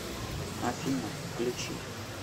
афина включи стади мьюзик